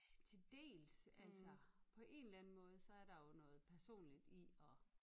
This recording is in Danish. Til dels altså på en eller anden måde så er der jo noget personligt i at